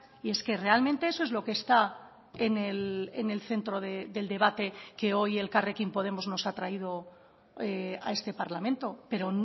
y es que realmente eso es lo que está en el centro del debate que hoy elkarrekin podemos nos ha traído a este parlamento pero